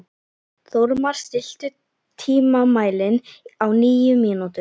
Þórmar, stilltu tímamælinn á níu mínútur.